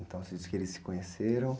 Então, você diz que eles se conheceram?